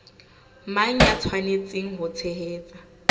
mang ya tshwanetseng ho tshehetsa